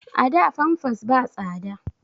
A da famfas ba tsada